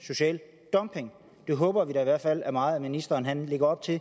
social dumping det håber vi da i hvert fald meget ministeren lægger op til